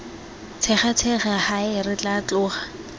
tshegatshega hae re tla tloga